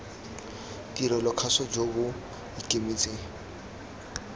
tirelo kgaso jo bo ikemetseng